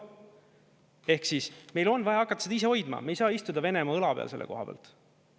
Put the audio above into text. Ehk siis meil on vaja hakata seda ise hoidma, me ei saa istuda Venemaa õla peal selle koha pealt.